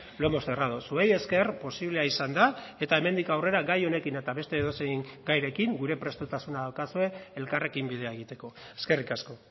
lo hemos cerrado zuei esker posiblea izan da eta hemendik aurrera gai honekin eta beste edozein gairekin gure prestutasuna daukazue elkarrekin bidea egiteko eskerrik asko